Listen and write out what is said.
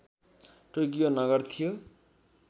Tokyo नगर थियो